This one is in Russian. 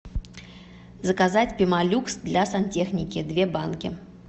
заказать пемолюкс для сантехники две банки